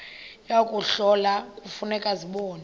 yokuhlola kufuneka zibonwe